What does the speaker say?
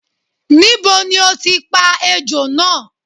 Níbo ni o ti pa ejò náà?